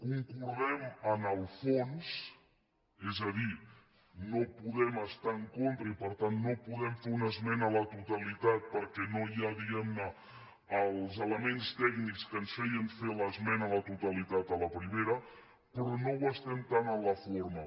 concordem en el fons és a dir no podem estar hi en contra i per tant no podem fer una esmena a la totalitat perquè no hi ha diguem ne els elements tècnics que ens feien fer l’esmena a la totalitat a la primera però no ho estem tant en la forma